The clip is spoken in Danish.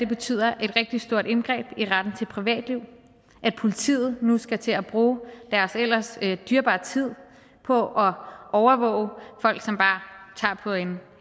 betyder et rigtig stort indgreb i retten til privatliv at politiet nu skal til at bruge deres ellers dyrebare tid på at overvåge folk som bare tager på en